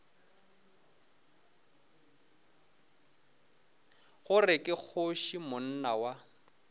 gore ke kgoši monna wa